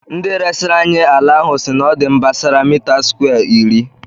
Ndị resịrị anyị ala ahụ sị na ọ dị mbasara mita skwee iri